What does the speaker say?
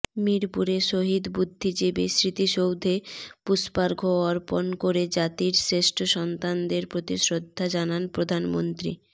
মিরপুরে শহীদ বুদ্ধিজীবী স্মৃতিসৌধে পুষ্পার্ঘ্য অর্পণ করে জাতির শ্রেষ্ঠসন্তানদের প্রতি শ্রদ্ধা জানান প্রধানমন্ত্রী